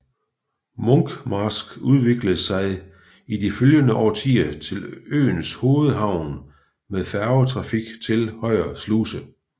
Munkmarsk udviklede sig i de følgende årtier til øens hovedhavn med færgetrafik til Højer Sluse